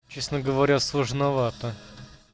честно говоря сложновато